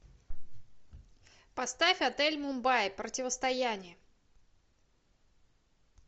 поставь отель мумбаи противостояние